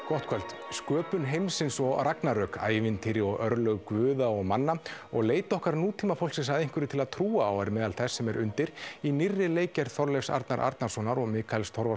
gott kvöld sköpun heimsins og ragnarök ævintýri og örlög guða og manna og leit okkar nútímamannsins að einhverju til að trúa á er meðal þess sem er undir í nýrri leikgerð Þorleifs Arnar Arnarssonar og Mikaels